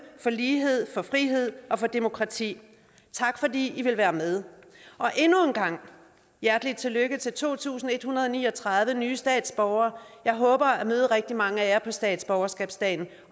for lighed for frihed og for demokrati tak fordi i vil være med endnu en gang hjertelig tillykke til to tusind en hundrede og ni og tredive nye statsborgere jeg håber at møde rigtig mange af jer på statsborgerskabsdagen